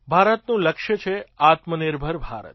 ભારતનું લક્ષ્ય છે આત્મનિર્ભર ભારત